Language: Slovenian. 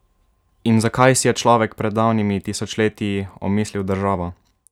In zakaj si je človek pred davnimi tisočletji omislil državo?